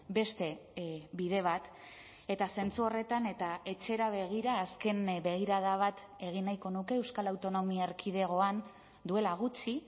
beste bide bat eta zentzu horretan eta etxera begira azken begirada bat egin nahiko nuke euskal autonomia erkidegoan duela gutxi